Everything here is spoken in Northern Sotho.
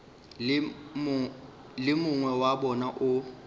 le mongwe wa bona o